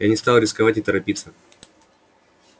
я не стал рисковать и торопиться